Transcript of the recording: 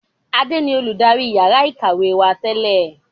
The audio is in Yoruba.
Adé ni olùdarí yàrá ìkàwé wá tẹ́lẹ̀